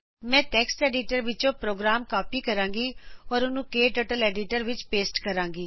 ਮੈਂ text editor ਵਿੱਚੋ program copy ਕਰੂੰਗੀ ਤੇ ਉਸਨੂੰ ਕਟਰਟਲ ਐਡੀਟਰ ਵਿੱਚ ਪੋਸਟ ਕਰੂੰਗੀ